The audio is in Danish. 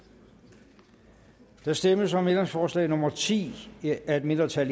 der stemmes om ændringsforslag nummer ti af et mindretal